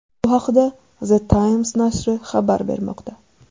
Bu haqda The Times nashri xabar bermoqda .